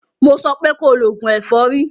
Mo sọ pé ko lo oògùn ẹ̀fọ́rí!